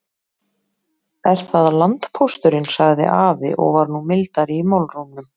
Er það landpósturinn, sagði afi og var nú mildari í málrómnum.